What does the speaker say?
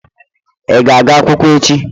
Ị ga-aga akwụkwọ echi?